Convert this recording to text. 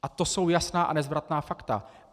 A to jsou jasná a nezvratná fakta.